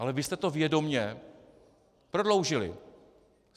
Ale vy jste to vědomě prodloužili.